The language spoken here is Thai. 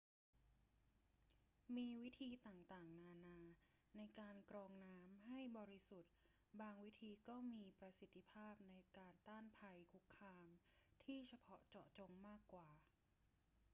มีวิธีต่างๆ นานาในการกรองน้ำให้บริสุทธิ์ บางวิธีก็มีประสิทธิภาพในการต้านภัยคุกคามที่เฉพาะเจาะจงมากกว่า